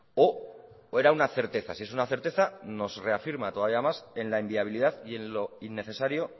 o era una certeza si es una certeza nos reafirma todavía más en la inviabilidad y en lo innecesario